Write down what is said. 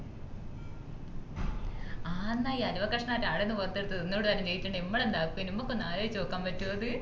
ആഹ്ന്ന അലുവകഷ്ണം ആടുന്ന പോർത് എടുത്ത് തിന്നുടെ ന്നു പറഞ്ഞിട്ടുണ്ടെങ്കി മ്മള് എന്താക്കിനും മ്മക്കൊന്ന ആലോയിച്ചോക്കാൻ പറ്റുആ അത്